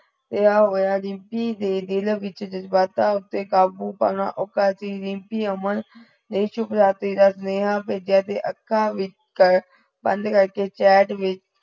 ਤੇ ਆ ਹੋਯਾ ਰੀਮਪੀ ਦੇ ਦਿਲ ਵਿਚ ਜਸਵਾਤਾ ਉਤੇ ਕਾਬੁ ਪਾਨਾ ਉਖਾ ਸੀ ਰੈਪ ਰੀਮਪੀ ਅਮਨ ਨੇ ਸੁਭ ਰਾਤਰੀ ਦਾ ਸਨੇਹਾ ਭੇਜਿਯਾਸੀ ਅੱਖਾਂ ਵਿਚ ਬੰਧ ਕਰ ਕੇ chat ਵਿਚ